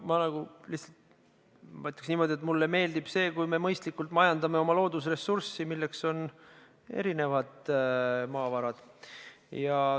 Ma ütleks niimoodi, et mulle meeldib see, kui me mõistlikult kasutame oma loodusressurssi, milleks on erinevad maavarad.